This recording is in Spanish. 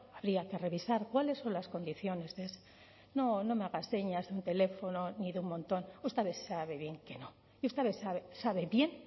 habría que revisar cuáles son las condiciones de ese no no me haga señas ni teléfono ni de un montón usted sabe bien que no usted sabe bien